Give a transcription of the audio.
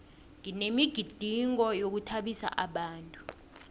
kunemigidingo yokuthabisa abantu